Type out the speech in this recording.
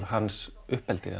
hans uppeldi